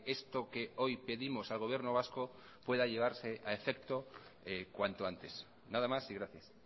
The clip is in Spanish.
esto que hoy pedimos al gobierno vasco pueda llevarse a efecto cuanto antes nada más y gracias